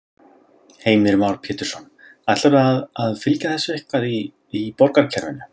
Heimir Már Pétursson: Ætlarðu að, að fylgja þessu eitthvað í, í borgarkerfinu?